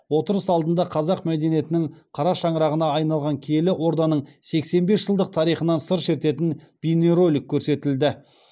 отырыс алдында қазақ мәдениетінің қара шаңырағына айналған киелі орданың сексен бес жылдық тарихынан сыр шертетін бейнеролик көрсетілді